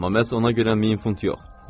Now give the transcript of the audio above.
Amma məhz ona görə 1000 funt yox.